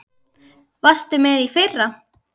Varstu með í fyrra?